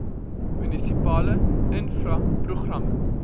munisipale infra programme